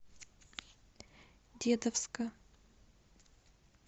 дедовска